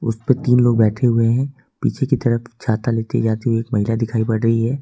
उस पे तीन लोग बैठे हुए हैं पीछे की तरफ छाता लेती जाती है हुई एक महिला दिखाई पड़ रही है।